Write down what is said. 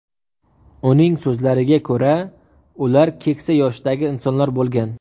Uning so‘zlariga ko‘ra, ular keksa yoshdagi insonlar bo‘lgan.